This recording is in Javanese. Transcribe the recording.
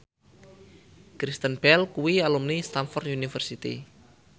Kristen Bell kuwi alumni Stamford University